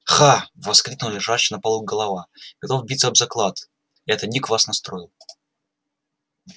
ха воскликнула лежащая на полу голова готов биться об заклад это ник вас настроил